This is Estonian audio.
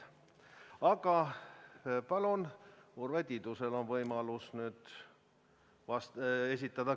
Aga palun, Urve Tiidusel on võimalus nüüd küsimus esitada.